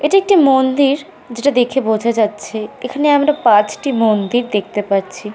এটি একটি মন্দির যেটা দেখে বোঝা যাচ্ছে এখানে আমরা পাঁচটি মন্দির দেখতে পারছি।